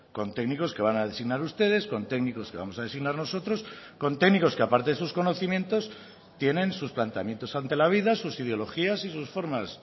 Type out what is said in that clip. con técnicos que van a designar ustedes con técnicos que vamos a designar nosotros con técnicos que a parte de sus conocimientos tienen sus planteamientos ante la vida sus ideologías y sus formas